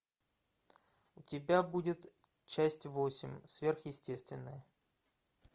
у тебя будет часть восемь сверхъестественное